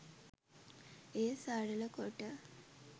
එය සරළ කොට